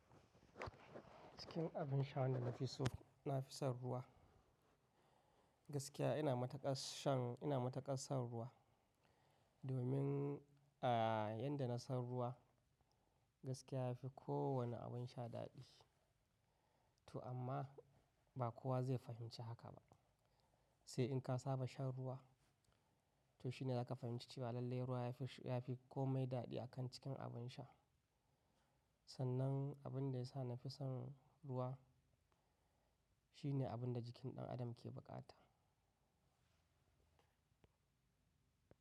Cikin abin sha wanda na fi so, na fi son ruwa. Gaskiya ina matukar shan, ina matukar son ruwa. Domin, a yanda na son ruwa, gaskiya yafi kowane abin sha daɗi. To amma ba kowa zai fahimci haka ba. Sai in ka saba shan ruwa, to shine zaka fahimci cewa lallai ruwa yafi, yafi komai daɗi akan cikin abin sha. Sannan abin da ya sa na fi son ruwa shine abin da jikin ɗan adam ke buƙata.